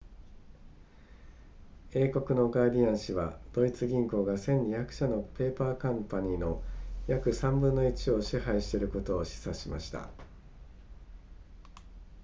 英国のガーディアン紙はドイツ銀行が1200社のペーパーカンパニーの約3分の1を支配していることを示唆しました